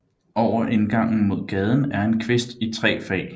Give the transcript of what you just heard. Over indgangen mod gaden er en kvist i tre fag